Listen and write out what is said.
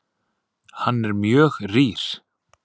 Hann er mjög rýr.